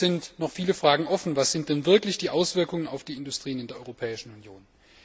Aber es sind noch viele Fragen offen Was sind denn wirklich die Auswirkungen auf die Industrien in der Europäischen Union?